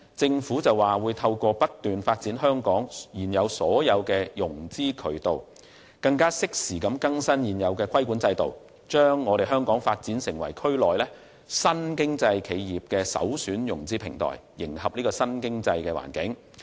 政府表示會透過不斷發展香港現有的種種融資渠道，適時更新現時的規管制度，將香港發展成為區內新經濟企業的首選融資平台，以迎合新經濟環境。